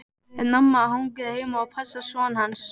En amma hangir heima og passar son hans.